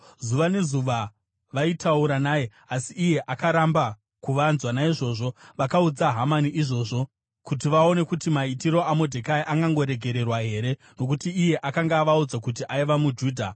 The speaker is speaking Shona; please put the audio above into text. Zuva nezuva vaitaura naye asi iye akaramba kuvanzwa. Naizvozvo vakaudza Hamani izvozvo kuti vaone kuti maitiro aModhekai angangoregererwa here, nokuti iye akanga avaudza kuti aiva muJudha.